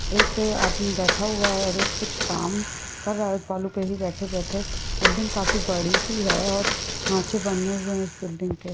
एक आदमी बैठा हुआ है और ये कुछ काम कर रहा है उस वालु पे ही बैठे बैठे बिल्डिंग काफी बड़ी सी है और खाचे बने हुए है उस बिल्डिंग के।